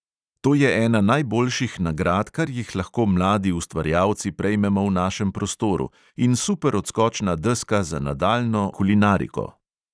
To je ena najboljših nagrad, kar jih lahko mladi ustvarjalci prejmemo v našem prostoru, in super odskočna deska za nadaljnjo oblikovalsko pot.